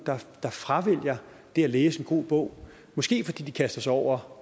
der fravælger det at læse en god bog måske fordi de kaster sig over